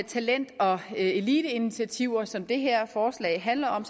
talent og eliteinitiativer som det her forslag handler om